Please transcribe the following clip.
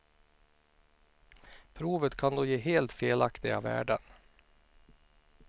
Provet kan då ge helt felaktiga värden.